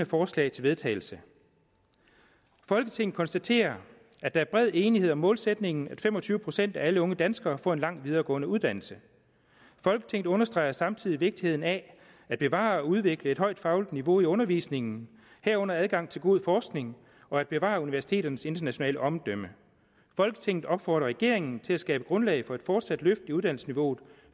forslag til vedtagelse folketinget konstaterer at der er bred enighed om målsætningen om at fem og tyve procent af alle unge danskere får en lang videregående uddannelse folketinget understreger samtidig vigtigheden af at bevare og udvikle et højt fagligt niveau i undervisningen herunder adgang til god forskning og at bevare universiteternes internationale omdømme folketinget opfordrer regeringen til at skabe grundlag for et fortsat løft i uddannelsesniveauet